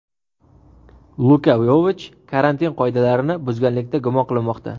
Luka Yovich karantin qoidalarini buzganlikda gumon qilinmoqda.